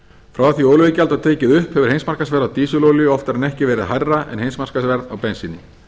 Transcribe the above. frá því að olíuverð var tekið upp hefur heimsmarkaðsverð á dísilolíu oftar en ekki verið hærra en heimsmarkaðsverð á bensíni